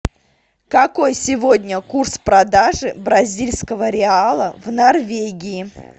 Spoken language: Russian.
какой сегодня курс продажи бразильского реала в норвегии